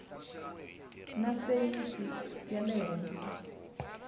na feyisi ya le henhla